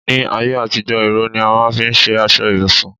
Ní ayé àtijó, ìró ni a máà ń fi ṣe aṣọ ibùsùn